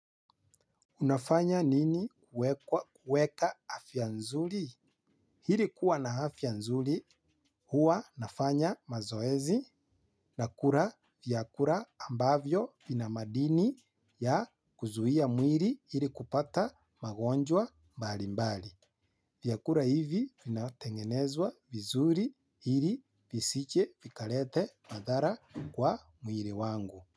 Unafanya nini kuekwa kueka afya nzuri? Ili kuwa na afya nzuri huwa nafanya mazoezi na kula vyakula ambavyo vina madini ya kuzuia mwili ili kupata magonjwa mbali mbali. Vyakula hivi vinatengenezwa vizuri ili visije vikalete madhara kwa mwili wangu.